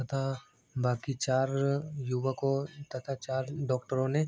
तथा बाकी चार युवकों तथा चार डॉक्टरों ने --